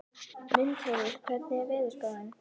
Mundheiður, hvernig er veðurspáin?